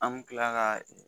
An bi kila ka ɛ